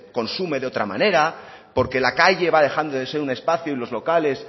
consume de otra manera porque la calle va dejando de ser un espacio y los locales